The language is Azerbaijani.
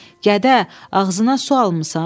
Gədə, ağzına su almısan?